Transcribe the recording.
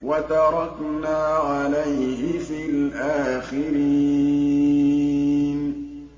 وَتَرَكْنَا عَلَيْهِ فِي الْآخِرِينَ